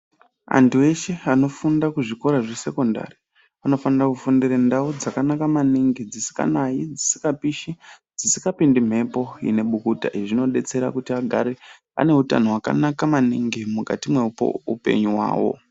Antu eshe anofunda kuzvikora zvesekondari anofanire kufundira ndau dzakanaka maningi dzisikanai, dzisikapishi dzisikapindi mhepo inebukuta. Izvi zvinobetsera kuti agare ane utano hwakanaka maningi mukati meupenyu hwavo.